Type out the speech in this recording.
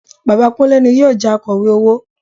Bàbá Kúnlé ni yóò jẹ Akọ̀wé owó